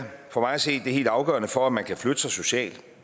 for mig at se det helt afgørende for at man kan flytte sig socialt